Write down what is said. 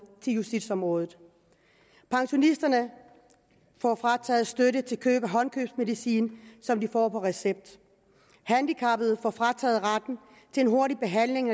til justitsområdet pensionisterne får frataget støtte til køb af håndkøbsmedicin som de får på recept handicappede får frataget retten til en hurtig behandling